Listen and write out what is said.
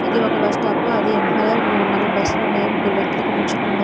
ఇది ఒక bus stop అది వెనకాల మూడు నాలుగు బస్లు ఉన్నాయి ముగ్గురు వ్యక్తులు ఇక్కడ నిల్చోని ఉన్నారు.